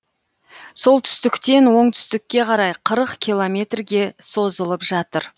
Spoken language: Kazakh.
солтүстіктен оңтүстікке қарай қырық километрге созылып жатыр